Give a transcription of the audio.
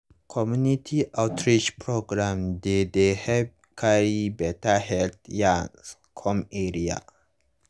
community outreach programs dey dey help carry beta health yarns come area.